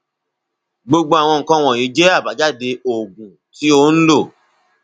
gbogbo àwọn nǹkan wọnyí jẹ àbájáde oògùn tí o ń lò